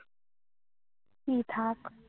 কি থাক